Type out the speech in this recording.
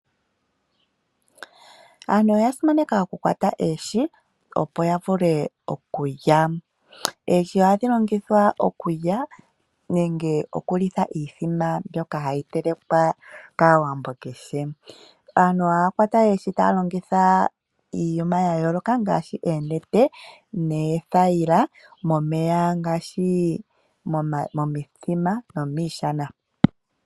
Aantu oya simaneka okukwata oohi opo yavule okulya, oohi ohadhi longithwa okulya nenge okulitha iimbombo mbyoka hayi telekwa kaawambo kehe. Aantu ohaya kwata oohi taya longitha iiyuma yayooloka ngaashi eenete, neethayila momeya ngaashi momithima nomiishana.